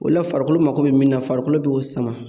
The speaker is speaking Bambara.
O la farikolo mako be mun na farikolo be o sama.